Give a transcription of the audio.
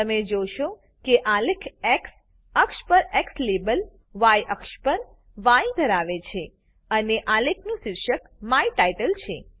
તમે જોશો કે આલેખ એક્સ અક્ષ પર એક્સ લેબલ ય અક્ષ પર ય અને ધરાવે છે અને આલેખનું શીર્ષક માય ટાઇટલ છે